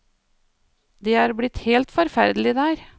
Det er blitt helt forferdelig der.